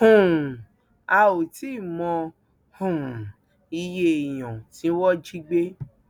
um a ò tí ì mọ um iye èèyàn tí wọn jí gbé